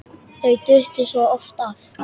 Þau duttu svo oft af.